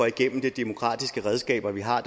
igennem de demokratiske redskaber vi har